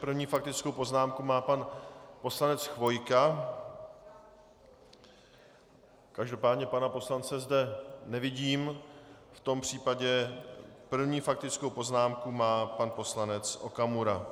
První faktickou poznámku má pan poslanec Chvojka, každopádně pana poslance zde nevidím, v tom případě první faktickou poznámku má pan poslanec Okamura.